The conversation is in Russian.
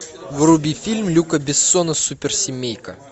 вруби фильм люка бессона суперсемейка